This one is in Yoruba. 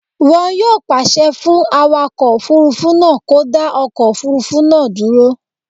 Wọn yóò pàṣẹ fún awakọ̀ òfurufú náà kó dá ọkọ̀ òfurufú náà dúró